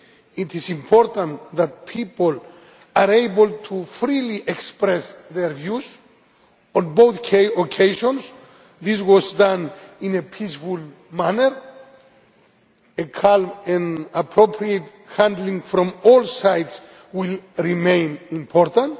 It is important that people were able to freely express their views on both occasions. This was done in a peaceful manner. A calm and appropriate handling from all sides will remain important.